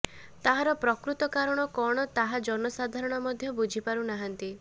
ତାହାର ପ୍ରକୃତ କାରଣ କଣ ତାହା ଜନ ସାଧାରଣ ମଧ୍ୟ ବୁଝିପାରୁ ନାହାନ୍ତି